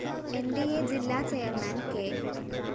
ന്‌ ഡി അ ജില്ലാ ചെയർമാൻ കെ